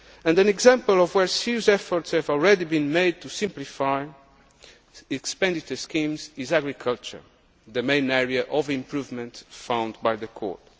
rules. An example of where serious efforts have already been made to simplify the expenditure schemes is agriculture, the main area of improvement found by the